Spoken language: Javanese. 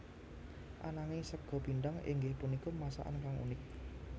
Ananging sega pindhang inggih punika masakan kang unik